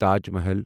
Taj Mahal